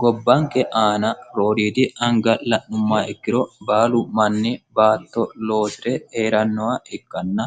gobbanke aana rooriidi anga'la'numma ikkiro baalu manni baatto loosire eerannowa ikkanna